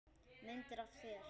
Myndir af þér.